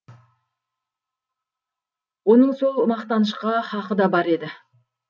оның сол мақтанышқа хақы да бар еді